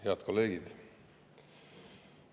Head kolleegid!